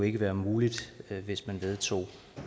ikke være muligt hvis man vedtog